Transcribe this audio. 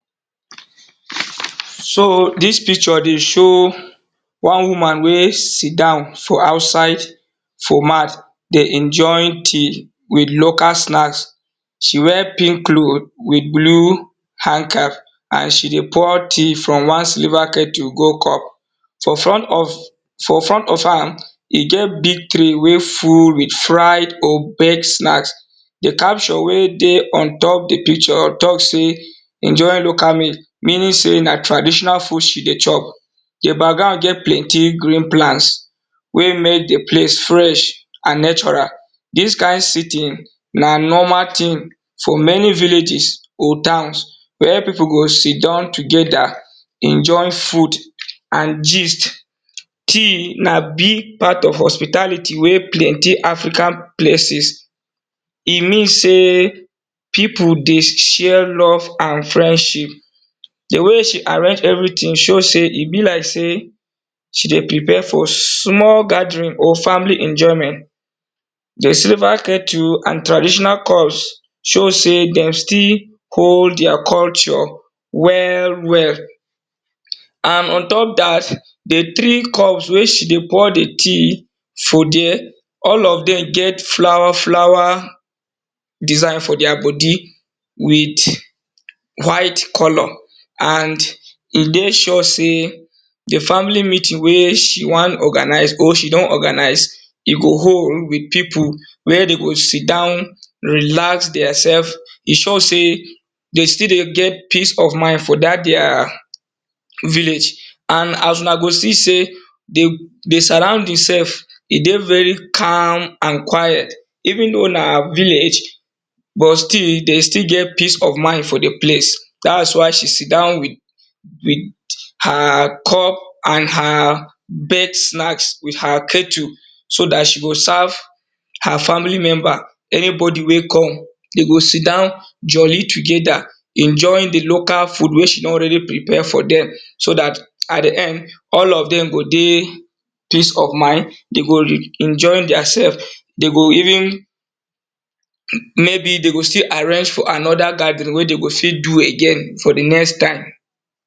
So dis picture dey show wan woman wey sit down for outside dey enjoy di mid local snacks. She wear pink cloth with blue hand cap and she dey pour tea from wan sliver kettle go cup. For front of hr, e ge big try wey full with fried opad snacks, di caption wey dey on top di piture talk sey, enoy local meal meaning sey na traditional food she dey talk. Di background get plenty green plant wey mek di place fresh and natural. Dis kind setting na normal thing for many villages go dance wen pipu go sit down together enjoying food and gist. Na big part of hospitality wey planty for part for African places. E mean sey [ i [ u dey share love and friendship. Di way she arrange everything show sey e be like sey she dey prepare for small gathering or family enjoyment. Di sliver kettle and traditional course, show sey dey still own their culture well well and on top dat, di three cups wey she dey pour di tea for there, all of dem get flower flower design for their bodi wih white color and e dey sure sey di family meeting wey she wan organize e go hold with hpip where den go sit down, relax dem sef. We sur sey de still dey get peace of mind for their village and una go see sey di surrounding sef, e dey very calm and quiet even though na village but still e dey still get peace of mind for di place dat y she sit down with her cup and her baked snacked with her catering so dat she go serve her family member anybody wey come de go sit down joli together wey se don really prepare for dem so dat at di end, all of dem go dey peace of mind, de go enjoy their sf de go even maybe de go still arrange for anoda gathering wey de go fit do again for di next time.